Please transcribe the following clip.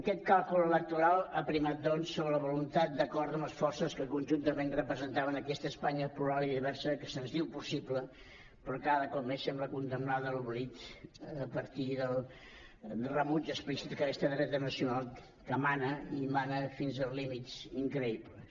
aquest càlcul electoral ha primat doncs sobre la voluntat d’acord amb les forces que conjuntament representaven aquesta espanya plural i diversa que se’ns diu possible però que cada cop més sembla condemnada a l’oblit a partir del rebuig explícit d’aquesta dreta nacional que mana i mana fins a límits increïbles